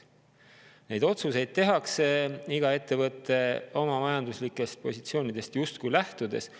Neid otsuseid teeb iga ettevõte oma majanduslikest positsioonidest lähtudes.